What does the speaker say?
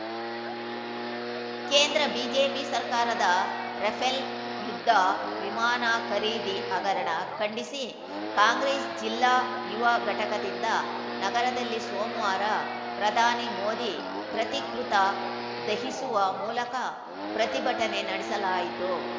ಕೇಂದ್ರ ಬಿಜೆಪಿ ಸರ್ಕಾರದ ರಫೇಲ್‌ ಯುದ್ಧ ವಿಮಾನ ಖರೀದಿ ಹಗರಣ ಖಂಡಿಸಿ ಕಾಂಗ್ರೆಸ್‌ ಜಿಲ್ಲಾ ಯುವ ಘಟಕದಿಂದ ನಗರದಲ್ಲಿ ಸೋಮವಾರ ಪ್ರಧಾನಿ ಮೋದಿ ಪ್ರತಿಕೃತಿ ದಹಿಸುವ ಮೂಲಕ ಪ್ರತಿಭಟನೆ ನಡೆಸಲಾಯಿತು